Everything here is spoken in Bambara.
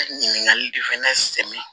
Ɲininkali de fɛnɛ